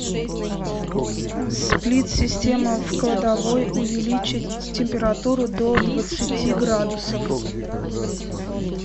сплит система в кладовой увеличить температуру до двадцати градусов